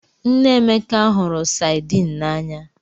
Nne Emeka hụrụ Saidin n'anya